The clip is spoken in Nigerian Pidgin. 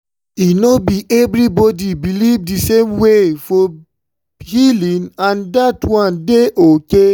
ah doctors and nurses suppose dey ask respectful questions about spiritual needs na so e suppose be.